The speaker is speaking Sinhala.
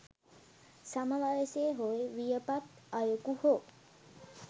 සම වයසේ හෝ වියපත් අයකු හෝ